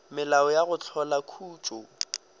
melao ya go hlola khutšo